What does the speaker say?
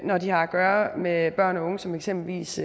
når de har at gøre med børn og unge som eksempelvis